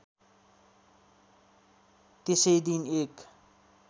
त्यसै दिन एक